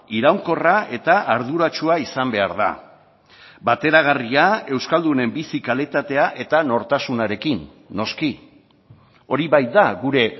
iraunkorra eta arduratsua izan behar da bateragarria euskaldunen bizi kalitatea eta nortasunarekin noski hori baita gure